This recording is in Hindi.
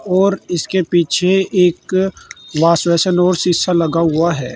और इसके पीछे एक वॉश बेसिन और शीशा लगा हुआ है।